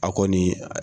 A kɔni